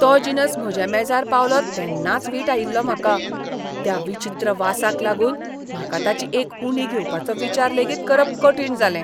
तो जिनस म्हज्या मेजार पावलो तेन्नाच वीट आयिल्लो म्हाका. त्या विचित्र वासाक लागून म्हाका ताची एक उंडी घेवपाचो विचार लेगीत करप कठीण जालें.